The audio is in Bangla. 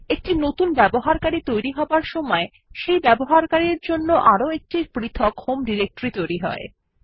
একটি নতুন ইউজার তৈরি হবার সময় সেই ব্যবহারকারীর জন্য আরও একটি পৃথক হোম ডিরেক্টরিও তৈরী হয়